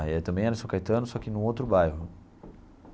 Aí também era em São Caetano, só que no outro bairro.